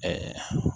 Ɛɛ